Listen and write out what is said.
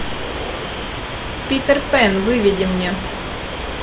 питер пэн выведи мне